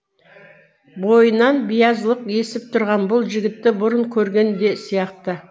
бойынан биязылық есіп тұрған бұл жігітті бұрын көрген де сияқты